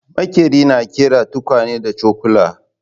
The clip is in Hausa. Maƙeri na ƙera tukwane da cokula